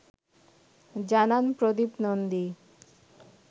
জানান প্রদীপ নন্দী